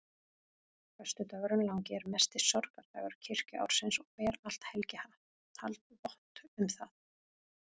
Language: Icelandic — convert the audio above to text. Föstudagurinn langi er mesti sorgardagur kirkjuársins og ber allt helgihald vott um það.